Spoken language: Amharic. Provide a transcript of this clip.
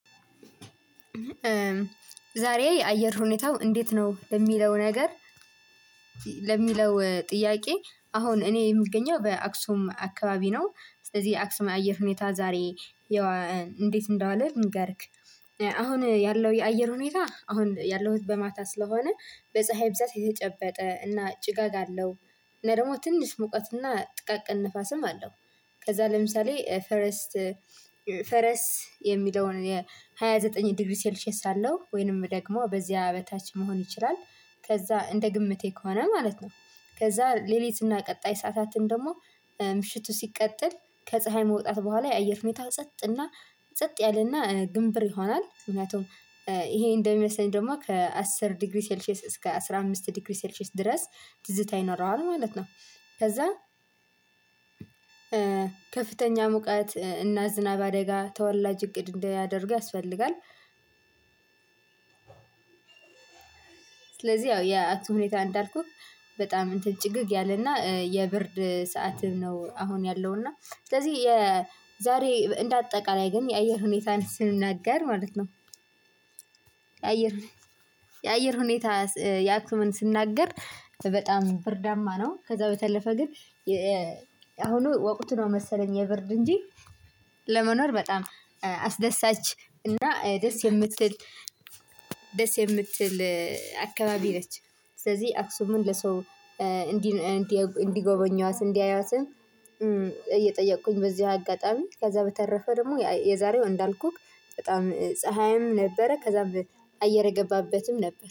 ዛሬ የአየር ሁኔታው እንዴት ነው ለሚለው ነገር ለሚለው ጥያቄ? አሁን እኔ የምገኘው በአክሱም አካባቢ ነው ስለዚህ አክሱም አየር ሁኔታ ዛሬ የዋ እንዴት እንደዋለ ልንገርክ። አሁን ያለው የአየር ሁኔታ አሁን ያለሁት በማታ ስለሆነ በፀሀይ ብዛት የተጨበጠ እና ጭጋግ አለው እና ደግሞ ትንሽ ሙቀት እና ጥቃቅን ንፋስም አለው። ከዛ ለምሳሌ ፈርስት ፈረስ የሚለውን የሃያዘጠኝ የሃያ ዘጠኝ ዲግሪ ሴልሼስ አለው ወይንም ደግሞ በዚህ በታች መሆን ይችላል። ከዛ እንደ ግምቴ ከሆነ ማለት ነው። ከዛ ሌሊትና ቀጣይ ሰዓታትን ደግሞ ምሽቱ ሲቀጥል ከፀሀይ መውጣት በኋላ የአየር ሁኔታ ጸጥ እና ጸጥ ያለና ግንብር ይሆናል። ምክንያቱም ይሄ እንደሚመስለኝ ደግሞ ከአስር ዲግሪ ሴልሼስ እስከ አስራ አምስት ዲግሪ ሴልሼስ ድረስ ትዝታ ይኖረዋል ማለት ነው። ከዛ ከፍተኛ ሙቀት እና ዝናብ አደጋ ተወላጅ እቅድ እንዲያደርግ ያስፈልጋል። ስለዚህ ያው ያ አክሱም ሁኔታ እንዳልኩህ በጣም እንትን ጭግግ ያለና የብርድ ሰዓትም ነው አሁን ያለውና። ስለዚህ የዛሬ እንደ አጠቃላይ ግን የአየር ሁኔታን ስንናገር ማለት ነው። የአየር የአየር ሁኔታ የአክሱምን ስናገር በጣም ብርዳማ ነው። ከዛ በተለፈ ግን አሁኑ ወቁት ነው መሰለኝ የብርድ እንጂ ለመኖር በጣም አስደሳች እና ደስ የምትል ደስ የምትል አካባቢ ነች። ስለዚህ አክሱምን ለሰው እንዲህ እንዲህ ጎበኟት እንዲያዩአትም። እየጠየቅኩኝ በዚህ አጋጣሚ ከዛ በተረፈ ደግሞ የአ የዛሬው እንዳልኩክ በጣም ፀሀይም ነበረ ከዛ በአየር የገባበትም ነበር